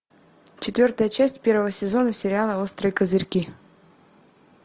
четвертая часть первого сезона сериала острые козырьки